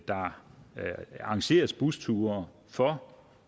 der arrangeres busture for